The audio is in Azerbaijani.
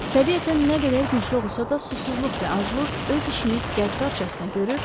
təbiətən nə qədər güclü olsa da susuzluq və aclıq öz işini qəddarcasına görür,